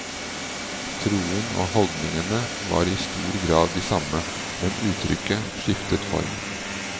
Troen og holdningene var i stor grad de samme, men uttrykket skiftet form.